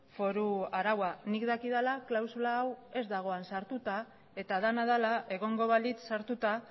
foru araua nik dakidala klausula hau ez dago han sartuta eta dena dela egongo balitz sartuta